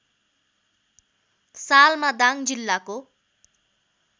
सालमा दाङ जिल्लाको